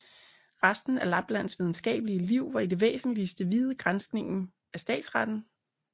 Resten af Labands videnskabelige Liv var i det væsentlige viet granskningen af statsretten